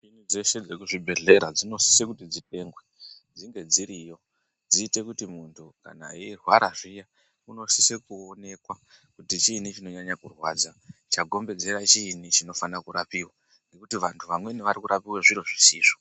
Dzeshe nemuzvibhedhleradzinosise kuti dzitengwe dzinge dziriyo Dziite kuti muntu kana eirwara zviyaunosise kuonekwa kuti chiinyi chinonyanye kurwadzachagombedzera chiini chofane kurapiwa nekuti vantu vamweni vari kurapiwe zviro zvisizvo.